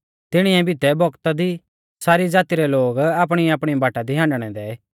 तिणीऐ बितै बौगता दी सारी ज़ाती रै लोग आपणीआपणी बाटा दी हांडणै दै